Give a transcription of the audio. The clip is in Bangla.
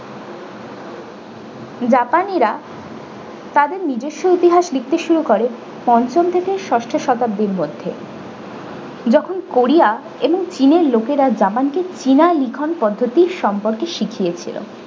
japani রা তাদের নিজস্ব ইতিহাস লিখতে শুরু করে পঞ্চম থেকে ষষ্ঠ শতাব্দীর মধ্যে যখন korea এবং চীনের লোকেরা japan কে china লিখন পদ্ধতির সম্পর্কে শিখিয়েছিলো।